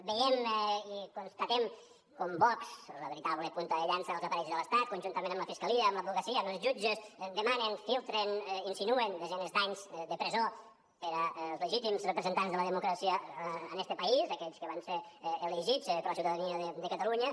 veiem i constatem com vox la veritable punta de llança dels aparells de l’estat conjuntament amb la fiscalia amb l’advocacia amb els jutges demanen filtren insinuen desenes d’anys de presó per als legítims representants de la democràcia en este país aquells que van ser elegits per la ciutadania de catalunya